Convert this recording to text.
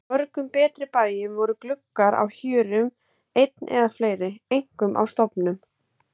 Á mörgum betri bæjum voru gluggar á hjörum einn eða fleiri, einkum á stofum.